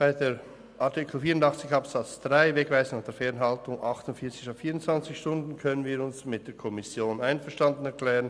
Bei Artikel 84 Absatz 3 können wir uns bezüglich der «Wegweisungen und Fernhaltungen» mit 48 statt 24 Stunden mit der Kommission einverstanden erklären.